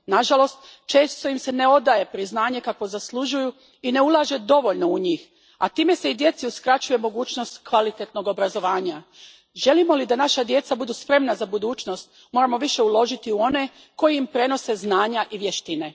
Na žalost, često im se ne odaje priznanje kakvo zaslužuju i ne ulaže dovoljno u njih, a time se i djeci uskraćuje mogućnost kvalitetnog obrazovanja. Želimo li da naša djeca budu spremna za budućnost, moramo više uložiti u one koji im prenose znanja i vještine.